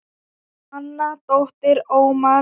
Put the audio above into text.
Anna dóttir Ómars.